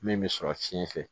Min bɛ sɔrɔ fiɲɛ fɛ